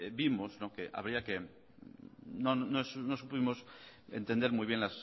vimos que habría que no supimos entender muy bien